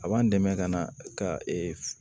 A b'an dɛmɛ ka na ka